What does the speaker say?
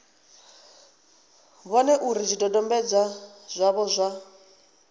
vhone uri zwidodombedzwa zwavho zwa